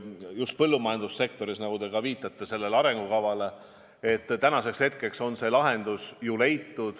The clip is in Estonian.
Just põllumajandussektoris – te viitasite selle arengukavale –, on tänaseks hetkeks ju lahendus leitud.